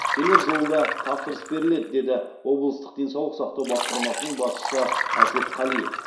келер жылы да тапсырыс беріледі деді облыстық денсаулық сақтау басқармасының басшысы әсет қалиев